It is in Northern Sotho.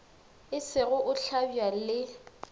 e sego go hlabja le